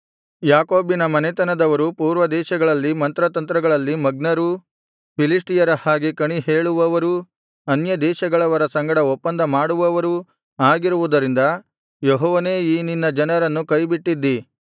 ಯಾಕೋಬಿನ ಮನೆತನದವರು ಪೂರ್ವದೇಶಗಳಲ್ಲಿ ಮಂತ್ರತಂತ್ರಗಳಲ್ಲಿ ಮಗ್ನರೂ ಫಿಲಿಷ್ಟಿಯರ ಹಾಗೆ ಕಣಿ ಹೇಳುವವರೂ ಅನ್ಯದೇಶಗಳವರ ಸಂಗಡ ಒಪ್ಪಂದ ಮಾಡುವವರೂ ಆಗಿರುವುದರಿಂದ ಯೆಹೋವನೇ ಈ ನಿನ್ನ ಜನರನ್ನು ಕೈಬಿಟ್ಟಿದ್ದೀ